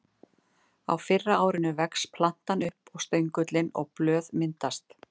Á fyrra árinu vex plantan upp og stöngull og blöð myndast.